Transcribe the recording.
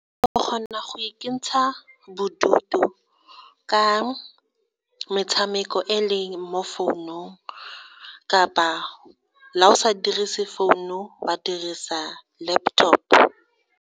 O kgona go ikentsha bodutu ka metshameko e leng mo founong kapa la o sa dirise founu wa dirisa laptop.